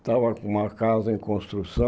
Estava com uma casa em